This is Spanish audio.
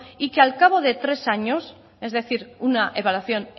y que al cabo de tres años es decir una evaluación